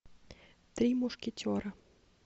три мушкетера